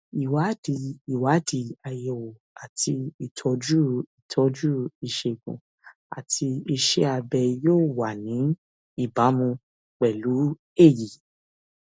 ìwádìí ìwádìí àyẹwò àti ìtọjú ìtọjú ìṣègùn àti iṣẹ abẹ yóò wà ní ìbámu pẹlú èyí